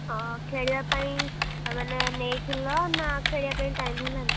ଅ ଖେଳିବା ପାଇଁ ମାନେ ନେଇଥିଲ ନା ଖେଳିବା ପାଇଁ time ହେଲାନି?